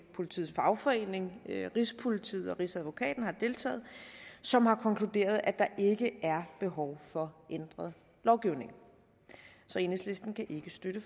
politiets fagforening rigspolitiet og rigsadvokaten har deltaget som har konkluderet at der ikke er behov for ændret lovgivning så enhedslisten kan ikke støtte